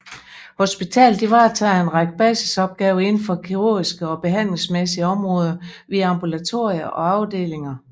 Hospitalet varetager en række basisopgaver indenfor kirugiske og behandlingsmæssige områder via ambulatorier og afdelinger